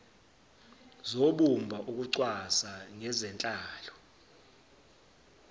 zobumba ukucwaswa ngezenhlalo